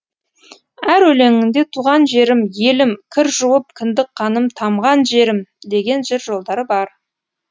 әр өлеңінде туған жерім елім кір жуып кіндік қаным тамған жерім деген жыр жолдары бар